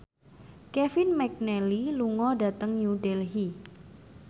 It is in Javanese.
Kevin McNally lunga dhateng New Delhi